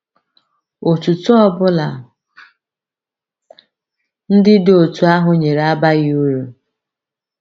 Otuto ọ bụla ndị dị otú ahụ nyere abaghị uru.